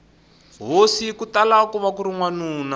hosi kutala kuva kuri wanuna